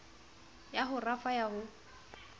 ya ho rafa ya ho